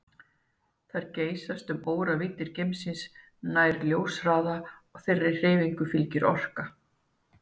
Þær geysast um óravíddir geimsins nærri ljóshraða og þeirri hreyfingu fylgir orka.